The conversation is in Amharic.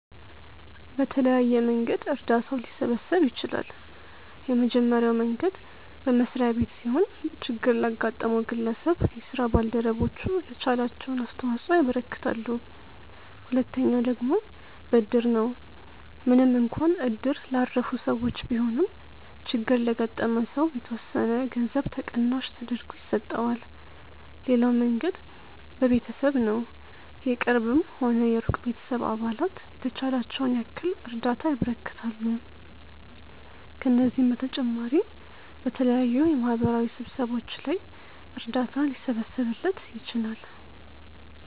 በተለያየ መንገድ እርዳታው ሊሰበሰብ ይችላል። የመጀመሪያው መንገድ በመስሪያ ቤት ሲሆን ችግር ላጋጠመው ግለሰብ የስራ ባልደረቦቹ የተቻላቸውን አስተዋጽኦ ያበረክታሉ። ሁለተኛው ደግሞ በእድር ነው፤ ምንም እንኳን እድር ላረፉ ሰዎች ቢሆንም ችግር ለገጠመው ሰው የተወሰነ ገንዘብ ተቀናሽ ተደርጎ ይሰጠዋል። ሌላው መንገድ በቤተሰብ ነው፤ የቅርብም ሆነ የሩቅ ቤተሰብ አባላት የተቻላቸውን ያክል እርዳታ ያበረክታሉ። ከነዚህም በተጨማሪ በተለያዩ የማህበራዊ ስብሰባዎች ላይ እርዳታ ሊሰበሰብለት ይችላል።